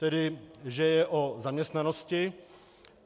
Tedy že je o zaměstnanosti.